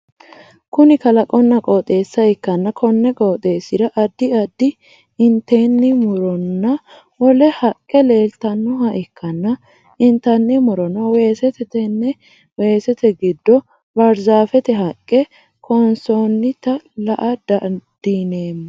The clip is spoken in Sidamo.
Kunni kalaqonna qooxeessa ikanna konni qooxeesira addi addi intenni muronna wole haqe leeltanoha ikanna intanni murono weesete tenne weesete gido baarzaafete haqe kaansoonnita lae dadiloomo.